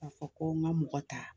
Ka fɔ ko n ka mɔgɔ ta,